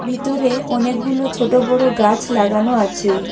ভিতরে অনেকগুলো ছোট বড় গাছ লাগানো আছে।